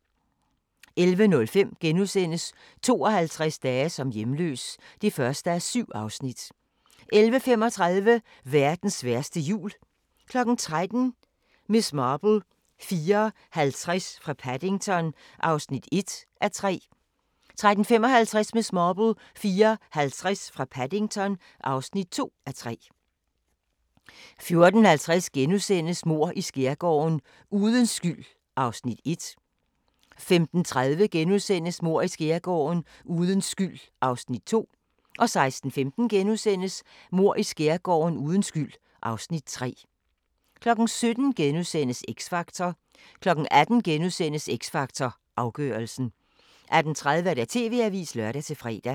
11:05: 52 dage som hjemløs (1:7)* 11:35: Verdens værste jul 13:00: Miss Marple: 4:50 fra Paddington (1:3) 13:55: Miss Marple: 4:50 fra Paddington (2:3) 14:50: Mord i Skærgården: Uden skyld (Afs. 1)* 15:30: Mord i Skærgården: Uden skyld (Afs. 2)* 16:15: Mord i Skærgården: Uden skyld (Afs. 3)* 17:00: X Factor * 18:00: X Factor Afgørelsen * 18:30: TV-avisen (lør-fre)